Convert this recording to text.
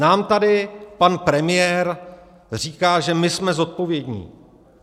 Nám tady pan premiér říká že "My jsme zodpovědní".